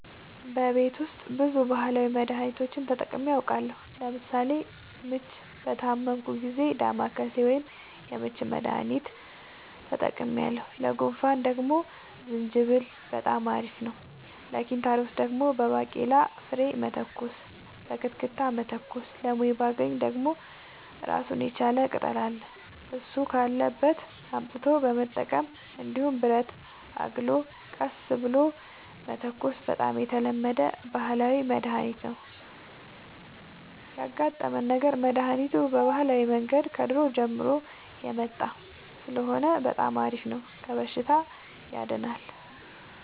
በቤት ውስጥ ብዙ ባህላዊ መድሀኒቶችን ተጠቅሜ አውቃለሁ ለምሳሌ ምች በታመምሁ ጊዜ ዳማከሴ ወይም የምች መድሀኒት ተጠቅሜያለሁ ለጉንፋን ደግሞ ዝንጅብል በጣም አሪፍ ነው ለኪንታሮት ደግሞ በባቄላ ፍሬ መተኮስ በክትክታ መተኮስ ለሞይባገኝ ደግሞ እራሱን የቻለ ቅጠል አለ እሱ ካለበት አምጥቶ መጠቀም እንዲሁም ብረትን አግሎ ቀስ ብሎ መተኮስ በጣም የተለመደ ባህላዊ መድሀኒት ነው ያጋጠመን ነገር መድሀኒቱ በባህላዊ መንገድ ከድሮ ጀምሮ የመጣ ስለሆነ በጣም አሪፍ ነው ከበሽታውም ያድናል።